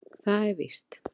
Það er víst.